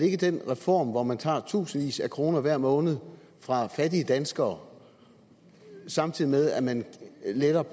ikke den reform hvor man tager i tusindvis af kroner hver måned fra fattige danskere samtidig med at man letter